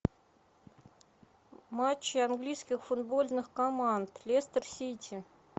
матчи английских футбольных команд лестер сити